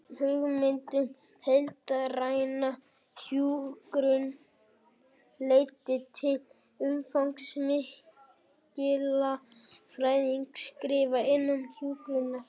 Hugmyndin um heildræna hjúkrun leiddi til umfangsmikilla fræðilegra skrifa innan hjúkrunar.